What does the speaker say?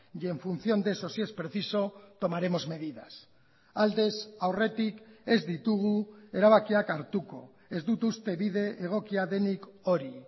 y en función de eso si es preciso tomaremos medidas aldez aurretik ez ditugu erabakiak hartuko ez dut uste bide egokia denik hori